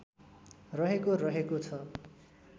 रहेको रहेको छ